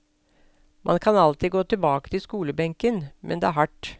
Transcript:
Man kan alltid gå tilbake til skolebenken, men det er hardt.